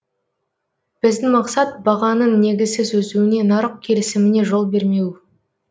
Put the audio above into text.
біздің мақсат бағаның негізсіз өсуіне нарық келісіміне жол бермеу